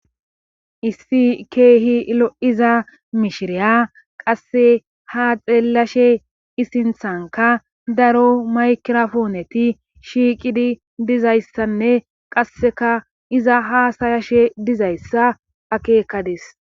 issi ke'hi lo'iza mishiriya qasse ha xeellashe isinthanka daro maykirafooneti shiiqidi dizayssanne qasseka iza haasayashe dizayssa akeekadis